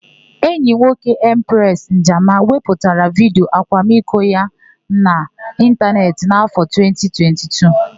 Enyi nwoke Empresị Njama wepụtara vidiyo akwamiko ya na ịntanetị n'áfọ̀ 2022.